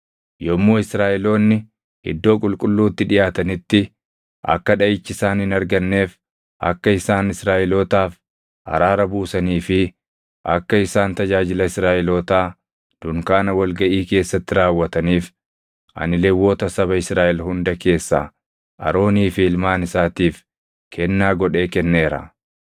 Yommuu Israaʼeloonni iddoo qulqulluutti dhiʼaatanitti akka dhaʼichi isaan hin arganneef, akka isaan Israaʼelootaaf araara buusanii fi akka isaan tajaajila Israaʼelootaa dunkaana wal gaʼii keessatti raawwataniif ani Lewwota saba Israaʼel hunda keessaa Aroonii fi ilmaan isaatiif kennaa godhee kenneera.”